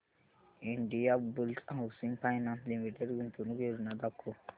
Indiabulls housing finance limited गुंतवणूक योजना दाखव